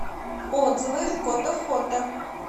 отзывы котофото